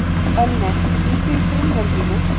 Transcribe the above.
Ölnir, hringdu í Brynjólfínu.